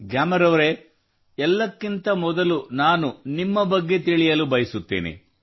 ಗ್ಯಾಮರ್ ಅವರೆ ಎಲ್ಲಕ್ಕಿಂತ ಮೊದಲು ನಾನು ನಿಮ್ಮ ಬಗ್ಗೆ ತಿಳಿಯಲು ಬಯಸುತ್ತೇನೆ